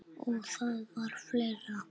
Og það var fleira.